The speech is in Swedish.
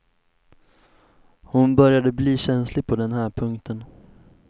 Hon började bli känslig på den här punkten.